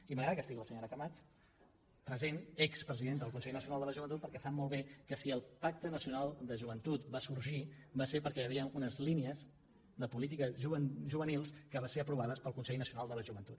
i m’agrada que hi hagi la senyora camats present expresidenta del consell nacional de la joventut perquè sap molt bé que si el pacte nacional de joventut va sorgir va ser perquè hi havien unes línies de polítiques ju venils que van ser aprovades pel consell nacional de la joventut